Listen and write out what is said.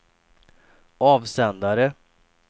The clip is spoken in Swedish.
avsändare